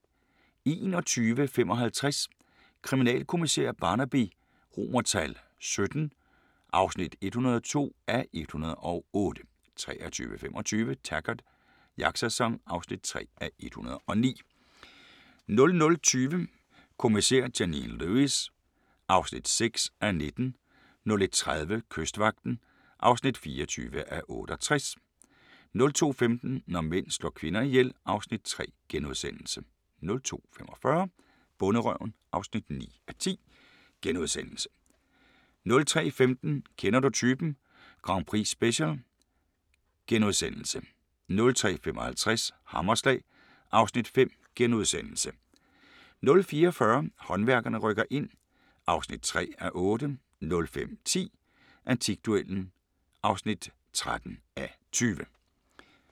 21:55: Kriminalkommissær Barnaby XVII (102:108) 23:25: Taggart: Jagtsæson (3:109) 00:20: Kommissær Janine Lewis (6:19) 01:30: Kystvagten (24:68) 02:15: Når mænd slår kvinder ihjel (Afs. 3)* 02:45: Bonderøven (9:10)* 03:15: Kender du typen? Grand Prix-special * 03:55: Hammerslag (Afs. 5)* 04:40: Håndværkerne rykker ind (3:8) 05:10: Antikduellen (13:20)*